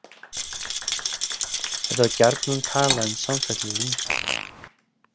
Er þá gjarnan talað um samfallið lunga.